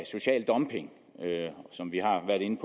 social dumping som vi har været inde